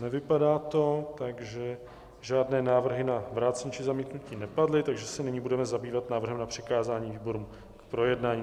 Nevypadá to, takže žádné návrhy na vrácení či zamítnutí nepadly, takže se nyní budeme zabývat návrhem na přikázání výborům k projednání.